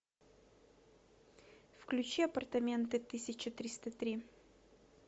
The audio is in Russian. включи апартаменты тысяча триста три